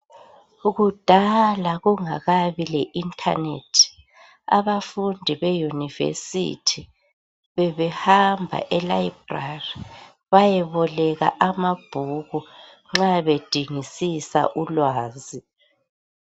Kudala kungakabi le internet abafundi be university bebehamba e library bayeboleka amabhuku nxa bedingisisa ulwazi